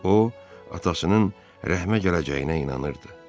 O, atasının rəhmə gələcəyinə inanırdı.